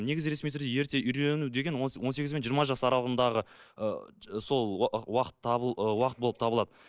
негізі ресми түрде ерте үйлену деген он сегіз бен жиырма жас аралығындағы ы сол уақыт табыл ы уақыт болып табылады